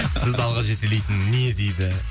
сізді алға жетелейтін не дейді